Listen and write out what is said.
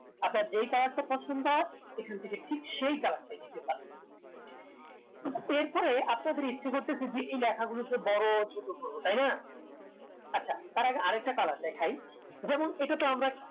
আপনার যে colour তা পছন্দ হয় ঐখান থেকে ঠিক সেই colour টাই দিতে পারবেন এরপরে আপনাদের ইচ্ছে করতেসে যে এই লেখা গুলোকে বড়ো ছোট করবেন তাইনা আচ্ছা তার আগে আরেকটা colour দেখাই যেমন এটাতে আমরা